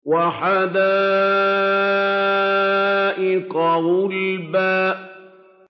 وَحَدَائِقَ غُلْبًا